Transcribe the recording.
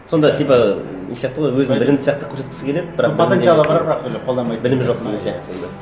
сонда типа не сияқты ғой өзін білімді сияқты көрсеткісі келеді білімі жоқ деген сияқты сонда